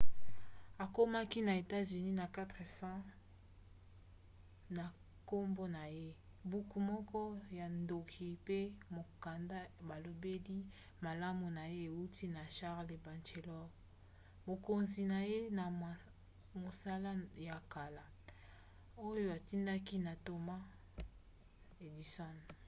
akomaki na etats-unis na 4 cents na nkombo na ye buku moko ya ntoki mpe mokanda balobeli malamu na ye euti na charles batchelor mokonzi na ye na mosala ya kala oyo atindaki na thomas edison